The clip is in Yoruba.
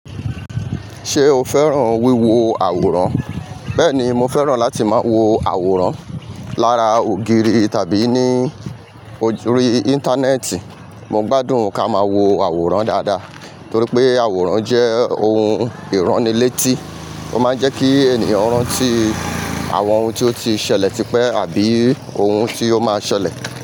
Ṣé o fẹ́ràn wíwo àwòrán? Bẹ́ẹ̀ni, mo fẹ́ràn láti máa wo àwòrán lára ògiri tàbí ní orí Íńtánẹ́ẹ̀tì. Mo gbádùn ká máa wo àwòrán dáadáa torí pé àwòrán jẹ́ ohun ìránnilétí. Ó máa ń jẹ́ kí ènìyàn rántí àwọn ohun tí ó ti ṣẹlẹ̀ tipẹ́ àbí ohun tí ó máa ṣẹlẹ̀.